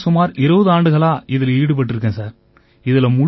இதோட சுமார் 20 ஆண்டுகளா இதில ஈடுபட்டிருக்கேன் சார்